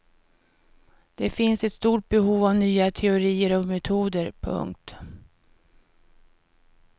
Det finns ett stort behov av nya teorier och metoder. punkt